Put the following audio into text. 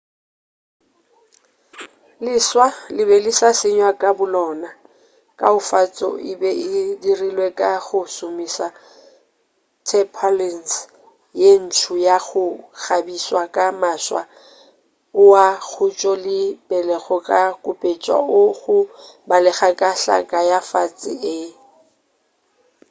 leswa le be le sa senywa ka bolona kaofatšo e be e dirilwe ka go šomiša tarpaulins ye ntso ya go kgabiswa ka maswa oa khutšo le pelo go kupetša o go balega ka hlaka ya fase e